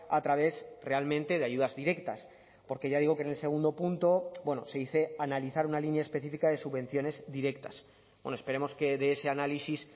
a través realmente de ayudas directas porque ya digo que en el segundo punto se dice analizar una línea específica de subvenciones directas bueno esperemos que de ese análisis